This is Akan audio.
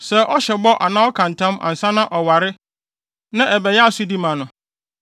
“Sɛ ɔhyɛ bɔ anaa ɔka ntam ansa na ɔware na ɛbɛyɛ asodi ma no